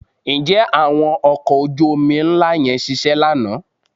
Ǹjẹ́ àwọn ọkọ̀ ojú-omi ńlá yẹn ṣiṣẹ́ lánàá?